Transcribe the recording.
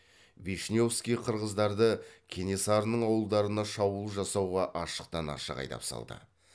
вишневский қырғыздарды кенесарының ауылдарына шабуыл жасауға ашықтан ашық айдап салды